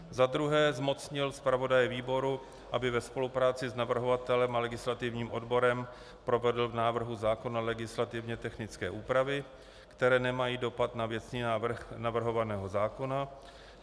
Za druhé zmocnil zpravodaje výboru, aby ve spolupráci s navrhovatelem a legislativním odborem provedl v návrhu zákona legislativně technické úpravy, které nemají dopad na věcný návrh navrhovaného zákona.